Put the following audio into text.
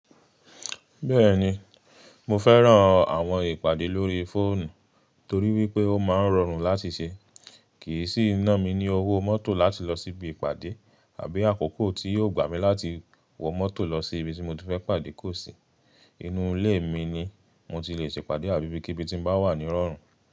Bẹ́ẹ̀ni mo fẹ́ràn àwọn ìpàdé lórí fóònù torí wípé ó maa ń rọrùn láti ṣe, kìí sì ná mi ní owó mọ́tò láti lọ síbi ìpàdé àbí àkókò tí yóò gbà mí láti wọ mọ́tò lọ sí ibi tí mo ti fẹ́ pàdé kó sì. Inú ilé mi ni mo ti le ṣe ìpàdé àbí ibikíbí tí ń bá wà ní rọrùn.